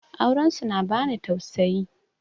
Auren su na bani tausayi